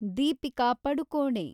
Deepika Padukone